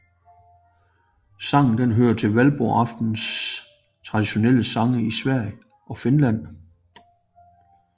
Sangen hører til Valborgsaftens traditionelle sange i Sverige og Finland